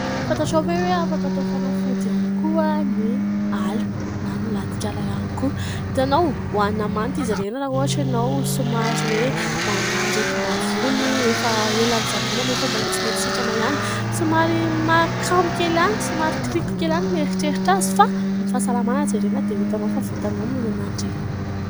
Fantatrao ve hoe afaka atao fanafody ihany koa ny ala na ny latik'ala ihany koa. Hitanao ohanina manta izy ireny raha ohatra ianao somary hoe manana aretim-bavony efa ela notsaboina nefa mbola tsy mety sitrana ihany. Somary mahakamo kely ihany, somary kiriko kely ihany ny mieritreritra azy fa; ny fahasalamana jerena dia ho hitanao fa vitanao ny mihinana an'ireny.